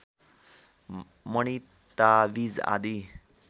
मणि ताबिज आदि